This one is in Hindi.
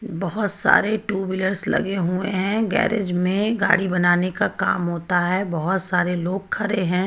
बहुत सारे टू व्हीलर्स लगे हुए हैं गैरेज में गाड़ी बनाने का काम होता है बहुत सारे लोग खरे हैं.